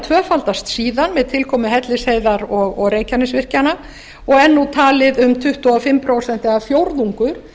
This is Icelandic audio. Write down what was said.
tvöfaldast síðan með tilkomu hellisheiði og reykjanesvirkjana og er nú talið um tuttugu og fimm prósent eða fjórðungur